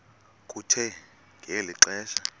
kuthe ngeli xesha